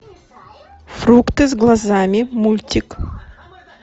фрукты с глазами мультик